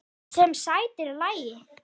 Sem sætir lagi.